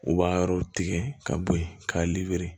U b'a yɔrɔw tigɛ ka bo yen ka